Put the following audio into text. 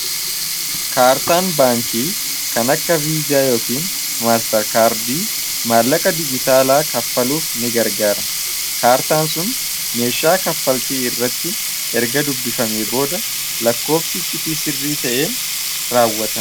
Kaartaan baankii kan akka viizaa yookiin maastar kaardi maallaqa dijitaalaa kaffaluuf ni gargaara kaartaan sun meeshaa kaffaltii irratti erga dubbifame booda lakkoofsichitii sirrii ta'een raawwata.